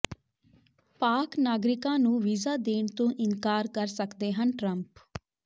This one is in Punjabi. ਪਾਕਿ ਨਾਗਰਿਕਾਂ ਨੂੰ ਵੀਜ਼ਾ ਦੇਣ ਤੋਂ ਇਨਕਾਰ ਕਰ ਸਕਦੇ ਹਨ ਟਰੰਪ